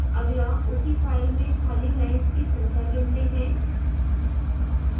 अगला उसी फ़ाइल में खाली lines की संख्या गिनते हैं